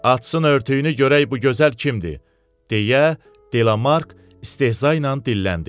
Açsın örtüyünü görək bu gözəl kimdir, deyə Delamark istehza ilə dilləndi.